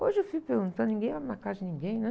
Hoje eu fico perguntando, ninguém na casa de ninguém, né?